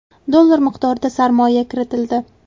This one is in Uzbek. dollar miqdorida sarmoya kiritildi.